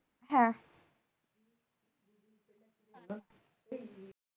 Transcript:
হ্যাঁ